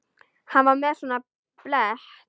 Hann var með svona blett.